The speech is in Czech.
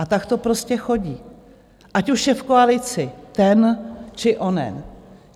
A tak to prostě chodí, ať už je v koalici ten, či onen.